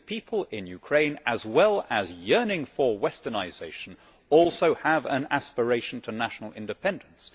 Because people in Ukraine, as well as yearning for westernisation, also have an aspiration to national independence.